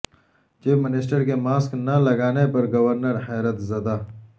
chief minister کے mask نہ لگانے پر گورنر حیرت زدہ